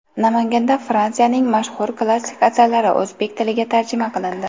Namanganda Fransiyaning mashhur klassik asarlari o‘zbek tiliga tarjima qilindi.